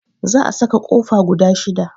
Zaa saka kofa guda 6.